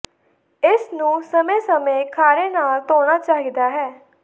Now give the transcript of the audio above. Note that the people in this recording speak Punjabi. ਇਸ ਨੂੰ ਸਮੇਂ ਸਮੇਂ ਖਾਰੇ ਨਾਲ ਧੋਣਾ ਚਾਹੀਦਾ ਹੈ